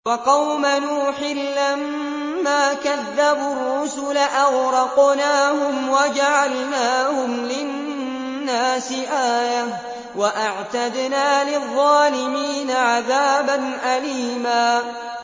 وَقَوْمَ نُوحٍ لَّمَّا كَذَّبُوا الرُّسُلَ أَغْرَقْنَاهُمْ وَجَعَلْنَاهُمْ لِلنَّاسِ آيَةً ۖ وَأَعْتَدْنَا لِلظَّالِمِينَ عَذَابًا أَلِيمًا